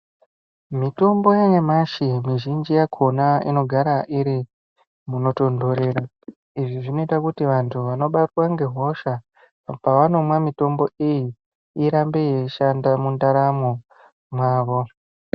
Mitombo yanyamashi mizhinji yakona inogara iri munotontorera izvi zvinoita kuti vantu vanobatwa ngehosha pavanomwa mitombo iyi irambe yeishanda mundaramo mwavo.